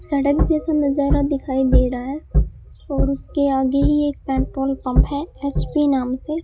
सड़क जैसा नजारा दिखाई दे रहा है और उसके आगे ही एक पेट्रोल पंप है एच_पी नाम से --